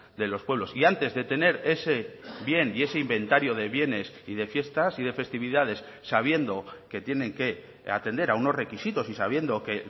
de los pueblos y antes de tener ese bien y ese inventario de bienes y de fiestas y de festividades sabiendo que tienen que atender a unos requisitos y sabiendo que